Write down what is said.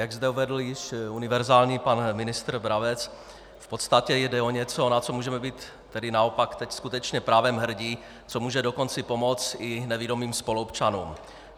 Jak zde uvedl již univerzální pan ministr Brabec, v podstatě jde o něco, na co můžeme být tedy naopak teď skutečně právem hrdí, co může dokonce pomoci i nevidomým spoluobčanům.